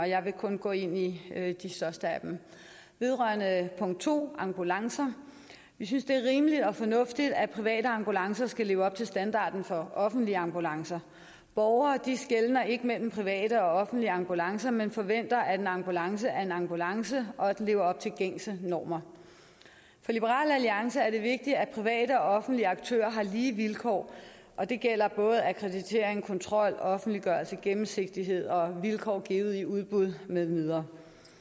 jeg vil kun gå ind i de største af dem vedrørende punkt to ambulancer vi synes det er rimeligt og fornuftigt at private ambulancer skal leve op til standarden for offentlige ambulancer borgere skelner ikke mellem private og offentlige ambulancer men forventer at en ambulance er en ambulance og at den lever op til gængse normer for liberal alliance er det vigtigt at private og offentlige aktører har lige vilkår og det gælder akkreditering kontrol offentliggørelse gennemsigtighed og vilkår givet i udbud med videre